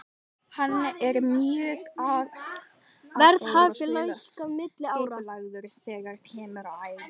Hann er mjög agaður og skipulagður þegar kemur að æfingum.